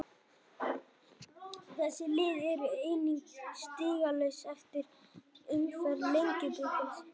Þessi lið eru einnig stigalaus eftir fyrstu umferð Lengjubikarsins.